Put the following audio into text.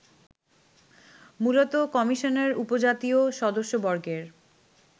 মূলত কমিশনের উপজাতীয় সদস্যবর্গের